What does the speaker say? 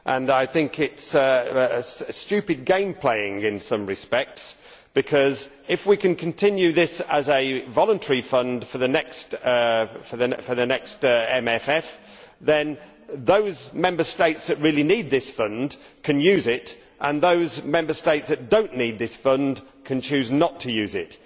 I think this is stupid game playing in some respects, because if we can continue this as a voluntary fund for the next MFF, then those Member States that really need this Fund can use it and those Member States that do not need this Fund can choose not to use it.